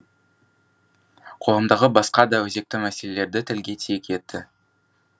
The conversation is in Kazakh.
қоғамдағы басқа да өзекті мәселелерді тілге тиек етті